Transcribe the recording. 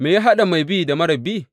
Me ya haɗa mai bi da marar bi?